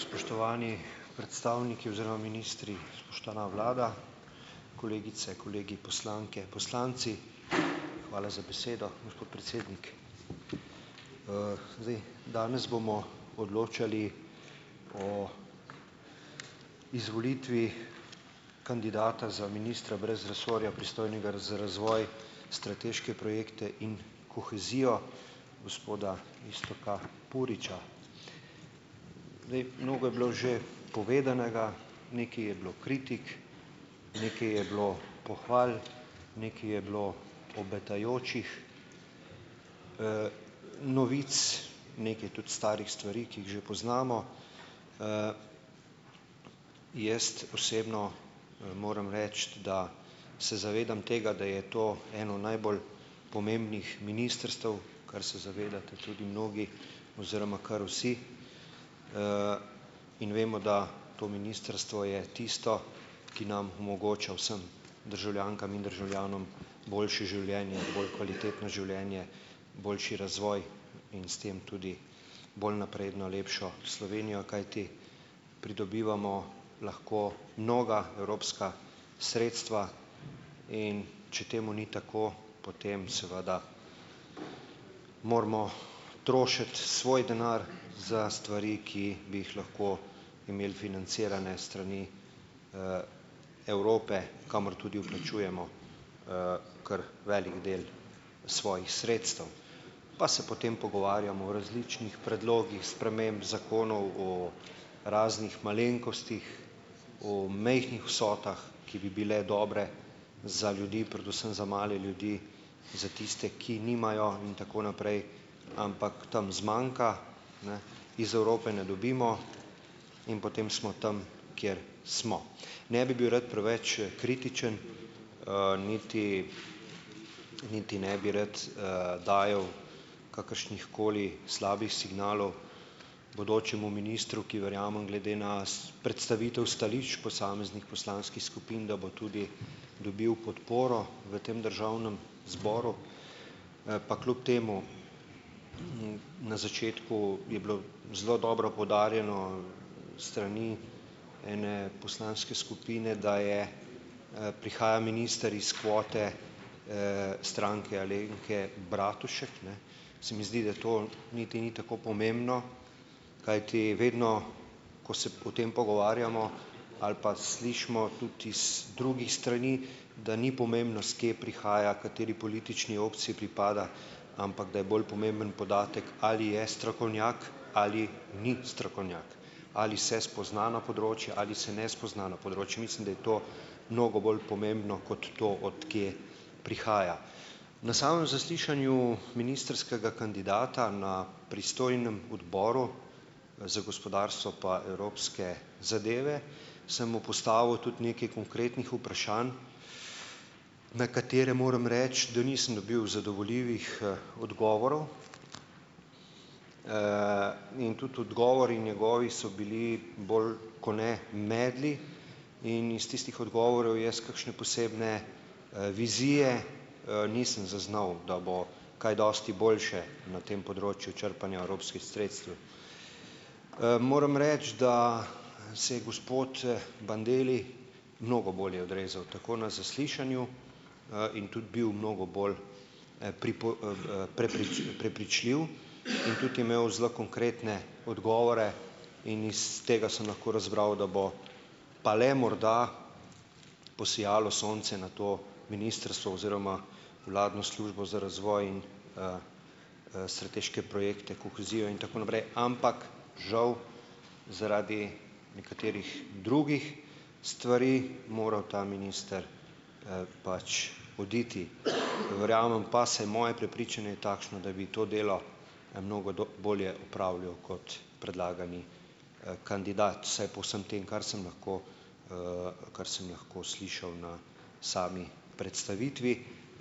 Spoštovani predstavniki oziroma ministri, spoštovana vlada, kolegice, kolegi, poslanke, poslanci! Hvala za besedo, gospod predsednik. Zdaj ... Danes bomo odločali o izvolitvi kandidata za ministra brez resorja, pristojnega za razvoj, strateške projekte in kohezijo, gospoda Iztoka Puriča. Zdaj ... Mnogo je bilo že povedanega, nekaj je bilo kritik, nekaj je bilo pohval, nekaj je bilo obetajočih novic, nekaj tudi starih stvari, ki jih že poznamo. Jaz ... Osebno moram reči, da se zavedam tega, da je to eno najbolj pomembnih ministrstev, kar se zavedate tudi mnogi oziroma kar vsi, in vemo, da to ministrstvo je tisto, ki nam omogoča vsem, državljankam in državljanom, boljše življenje, bolj kvalitetno življenje, boljši razvoj in s tem tudi bolj napredno, lepšo Slovenijo, kajti pridobivamo lahko mnoga evropska sredstva, in če temu ni tako, potem seveda moramo trošiti svoj denar za stvari, ki bi jih lahko imeli financirane s strani Evrope, kamor tudi vplačujemo kar velik del svojih sredstev. Pa se potem pogovarjamo o različnih predlogih sprememb zakonov, o raznih malenkostih, o majhnih vsotah, ki bi bile dobre za ljudi, predvsem za male ljudi, za tiste, ki nimajo, in tako naprej, ampak tam zmanjka, ne, iz Evrope ne dobimo, in potem smo tam, kjer smo. Ne bi bil rad preveč kritičen, niti niti ne bi rad dajal kakršnihkoli slabih signalov bodočemu ministru, ki verjamem, glede na predstavitev stališč posameznih poslanskih skupin, da bo tudi dobil podporo v tem Državnem zboru. Pa kljub temu, na začetku je bilo zelo dobro poudarjeno s strani ene poslanske skupine, da je, prihaja minister iz kvote Stranke Alenke Bratušek, ne ... Se mi zdi, da tole niti ni tako pomembno, kajti vedno, ko se o tem pogovarjamo ali pa slišimo tudi iz drugih strani, da ni pomembno, s kje prihaja, kateri politični opciji pripada, ampak da je bolj pomemben podatek, ali je strokovnjak ali ni strokovnjak, ali se spozna na področje ali se ne spozna na področje; mislim, da je to mnogo bolj pomembno kot to, od kje prihaja. Na samem zaslišanju ministrskega kandidata na pristojnem Odboru za gospodarstvo pa Evropske zadeve sem mu postavil tudi nekaj konkretnih vprašanj, na katera, moram reči, da nisem dobil zadovoljivih odgovorov, in tudi odgovori, njegovi, so bili bolj kot ne medli in iz tistih odgovorov jaz kakšne posebne vizije nisem zaznal, da bo kaj dosti boljše na tem področju črpanja evropskih sredstev. Moram reči, da se je gospod Bandelli mnogo bolje odrezal tako na zaslišanju in tudi bil mnogo bolj prepričljiv in tudi je imel zelo konkretne odgovore, in iz tega sem lahko razbral, da bo pa le morda posijalo sonce na to ministrstvo oziroma vladno službo za razvoj in strateške projekte, kohezijo in tako naprej. Ampak žal zaradi nekaterih drugih stvari moral ta minister pač oditi. Verjamem pa, vsaj moje prepričanje je takšno, da bi to delo mnogo do bolje opravljal kot predlagani kandidat, vsaj po vsem tem, kar sem lahko, kar sem lahko slišal na sami predstavitvi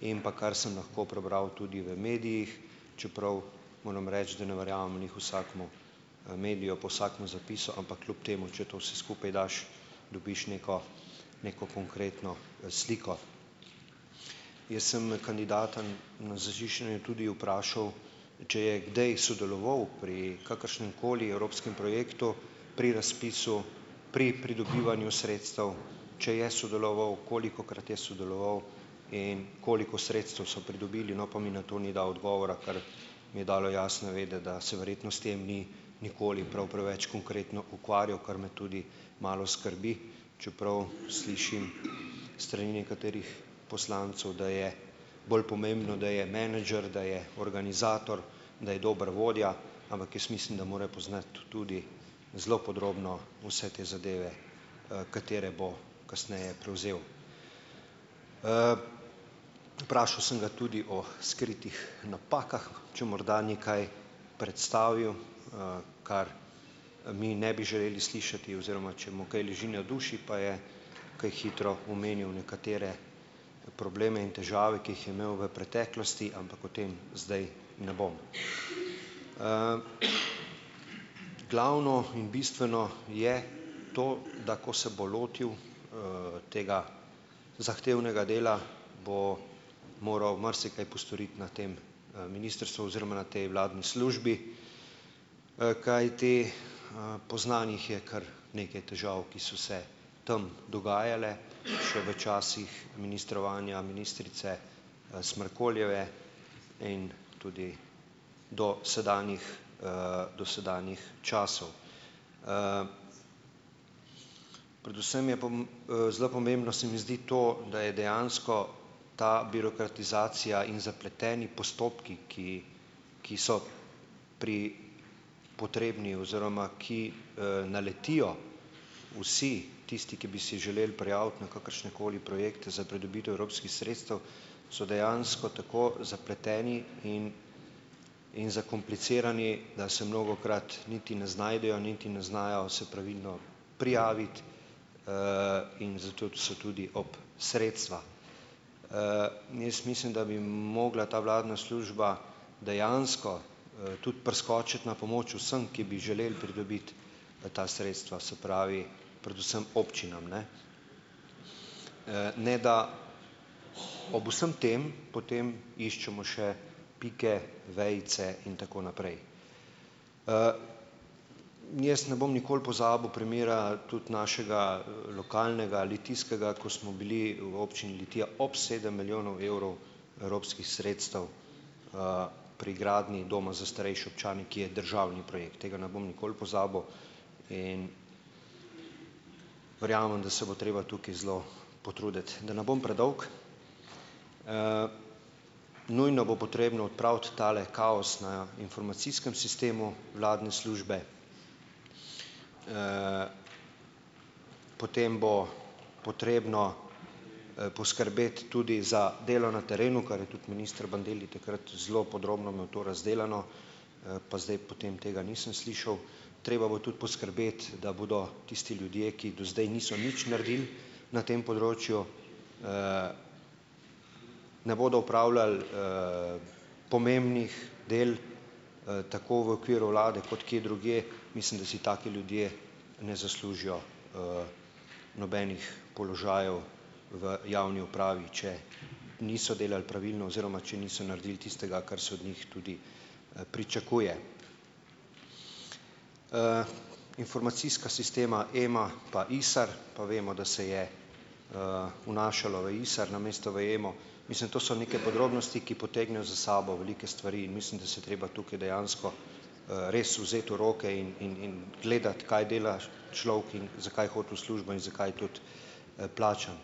in pa kar sem lahko prebral tudi v medijih, čeprav moram reči, da ne verjamem glih vsakemu mediju pa vsakemu zapisu, ampak kljub temu, če to vse skupaj daš, dobiš neko neko konkretno sliko. Jaz sem kandidata na zaslišanju tudi vprašal, če je kdaj sodeloval pri kakršnemkoli evropskem projektu pri razpisu, pri pridobivanju sredstev, če je sodeloval, kolikokrat je sodeloval in koliko sredstev so pridobili. No, pa mi na to ni dal odgovora, kar mi je dalo jasno vedeti, da se verjetno s tem ni nikoli prav preveč konkretno ukvarjal, kar me tudi malo skrbi, čeprav slišim s strani nekaterih poslancev, da je bolj pomembno, da je menedžer, da je organizator, da je dober vodja, ampak jaz mislim, da more poznati tudi zelo podrobno vse te zadeve, katere bo kasneje prevzel. Vprašal sem ga tudi o skritih napakah, če morda ni kaj predstavil, kar mi ne bi želeli slišati, oziroma če mu kaj leži na duši, pa je kaj hitro omenil nekatere probleme in težave, ki jih je imel v preteklosti, ampak o tem zdaj ne bom. Glavno in bistveno je to, da ko se bo lotil tega zahtevnega dela, bo moral marsikaj postoriti na tem ministrstvu oziroma na tej vladni službi, kajti poznanih je kar nekaj težav, ki so se tam dogajale še v časih ministrovanja ministrice Smrkoljeve in tudi dosedanjih, dosedanjih časov. Predvsem je zelo pomembno se mi zdi to, da je dejansko ta birokratizacija in zapleteni postopki, ki ki so pri potrebni oziroma ki naletijo vsi tisti, ki bi si želeli prijaviti na kakršnekoli projekte za pridobitev evropskih sredstev, so dejansko tako zapleteni in in zakomplicirani, da se mnogokrat niti ne znajdejo niti ne znajo se pravilno prijaviti. In zato tudi so tudi ob sredstva. Jaz mislim, da bi mogla ta vladna služba dejansko tudi priskočiti na pomoč vsem, ki bi želeli pridobiti ta sredstva, se pravi, predvsem občinam, ne, ne da ob vsem tem potem iščemo še pike, vejice in tako naprej. Jaz ne bom nikoli pozabil primera, tudi našega lokalnega, litijskega, ko smo bili v občini Litija ob sedem milijonov evrov evropskih sredstev pri gradnji doma za starejše občane, ki je državni projekt. Tega ne bom nikoli pozabil. In ... Verjamem, da se bo treba tukaj zelo potruditi. Da ne bom predolg, nujno bo potrebno odpraviti tale kaos na informacijskem sistemu vladne službe. Potem bo potrebno poskrbeti tudi za delo na terenu, kar je tudi minister Bandelli takrat zelo podrobno imel to razdelano, pa zdaj potem tega nisem slišal. Treba bo tudi poskrbeti, da bodo tisti ljudje, ki do zdaj niso nič naredili na tem področju, ne bodo upravljali pomembnih del, tako v okviru vlade kot kje drugje, mislim, da si taki ljudje ne zaslužijo nobenih položajev v javni upravi, če niso delal pravilno oziroma če niso naredili tistega, kar se od njih tudi pričakuje. Informacijska sistema E-MA pa ISAR pa vemo, da se je vnašalo v ISAR namesto v E-MO, mislim to so neke podrobnosti, ki potegnejo za sabo velike stvari in mislim, da se treba tukaj dejansko res vzeti v roke in in in gledati, kaj dela človek in zakaj hodi v službo in zakaj je tudi plačan.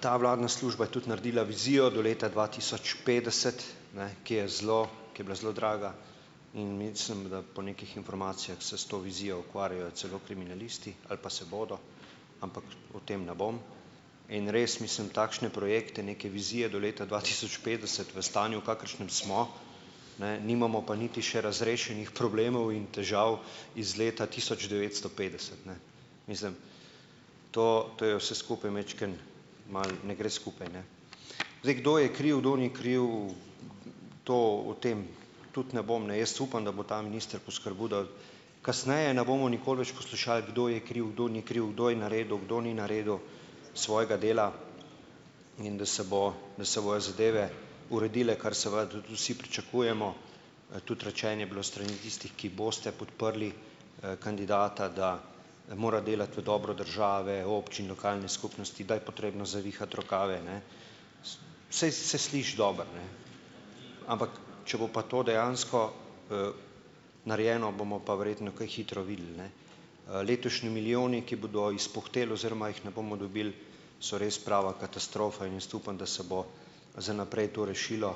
Ta vladna služba je tudi naredila vizijo do leta dva tisoč petdeset, ne, ki je zelo, ko je bila zelo draga. In mislim, da po nekih informacijah se s to vizijo ukvarjajo celo kriminalisti ali pa se bodo, ampak o tem ne bom. In res mislim, takšne projekte, neke vizije do leta dva tisoč petdeset v stanju, v kakršnem smo, ne? Nimamo pa niti še razrešenih problemov in težav iz leta tisoč devetsto petdeset, ne. Mislim, to, to je vse skupaj majčkeno malo, ne gre skupaj, ne. Zdaj, kdo je kriv, kdo ni kriv, to, o tem tudi ne bom, ne ... Jaz upam, da bo ta minister poskrbel, da kasneje na bomo nikoli več poslušali, kdo je kriv, kdo ni kriv, kdo je naredil, kdo ni naredil svojega dela, in da se bo, da se bojo zadeve uredile, kar seveda tudi vsi pričakujemo, tudi rečeno je bilo s strani tistih, ki boste podprli kandidata, da mora delati v dobro države, občin, lokalne skupnosti, da je potrebno zavihati rokave, ne. Saj se sliši dobro, ne, ampak če bo pa to dejansko narejeno, bomo pa verjetno kaj hitro videli, ne. Letošnji milijoni, ki bodo izpuhteli oziroma jih ne bomo dobili, so res prava katastrofa. In jaz upam, da se bo za naprej to rešilo.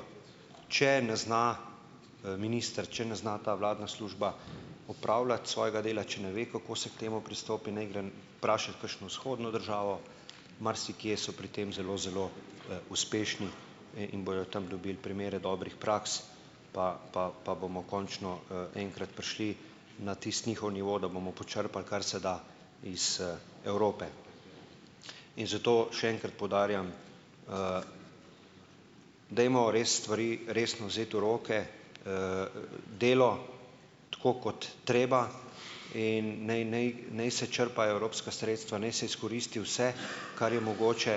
Če ne zna minister, če ne zna ta vladna služba opravljati svojega dela, če ne ve, kako se k temu pristopi, naj gre vprašat kakšno vzhodno državo, marsikje so pri tem zelo, zelo uspešni in bojo tam dobili primere dobrih praks, pa, pa, pa bomo končno enkrat prišli na tisti njihov nivo, da bomo počrpali, kar se da iz Evrope. In zato še enkrat poudarjam, dajmo res stvari resno vzeti v roke, delo, tako kot treba, in naj, naj, naj se črpajo evropska sredstva, naj se izkoristi vse, kar je mogoče,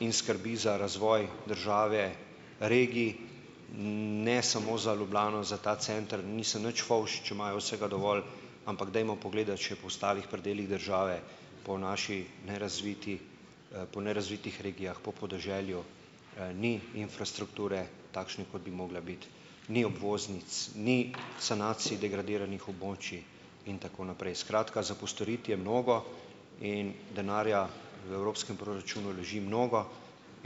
in skrbi za razvoj države, regij, ne samo za Ljubljano, za ta center. Nisem nič fovš, če imajo vsega dovolj, ampak dajmo pogledati še po ostalih predelih države, po naši nerazviti, po nerazvitih regijah, po podeželju, ni infrastrukture takšne, kot bi mogla biti, ni obvoznic, ni sanacij degradiranih območij in tako naprej. Skratka, za postoriti je mnogo in denarja v evropskem proračunu leži mnogo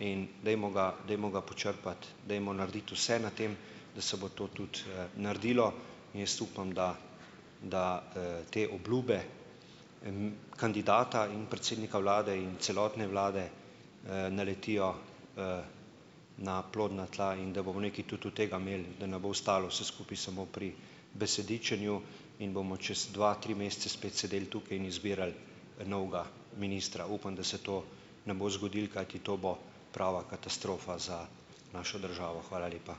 in dajmo ga, dajmo ga počrpati, dajmo narediti vse na tem, da se bo to tudi naredilo. In jaz upam, da da te j kandidata in predsednika vlade in celotne vlade naletijo na plodna tla in da bomo nekaj tudi od tega imeli, da ne bo ostalo vse skupaj samo pri besedičenju in bomo čez dva, tri mesece spet sedeli tukaj in izbirali novega ministra. Upam, da se to ne bo zgodilo, kajti to bo prava katastrofa za našo državo. Hvala lepa.